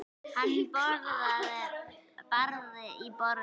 Hann barði í borðið.